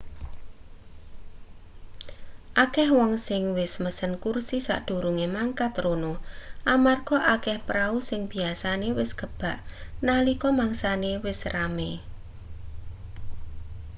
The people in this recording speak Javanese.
akeh wong sing wis mesen kursi sadurunge mangkat rono amarga akeh prau sing biyasane wis kebak nalika mangsane wis rame